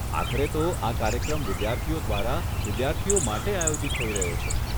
આખરે તો આ કાર્યક્રમ વિદ્યાર્થીઓ દ્વારા, વિદ્યાર્થીઓ માટે આયોજિત થઇ રહ્યો છે.